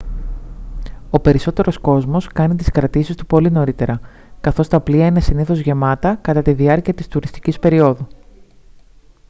ο περισσότερος κόσμος κάνει τις κρατήσεις του πολύ νωρίτερα καθώς τα πλοία είναι συνήθως γεμάτα κατά τη διάρκεια της τουριστικής περιόδου